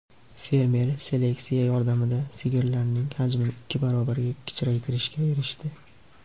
Fermer seleksiya yordamida sigirlarning hajmini ikki barobarga kichraytirishga erishdi.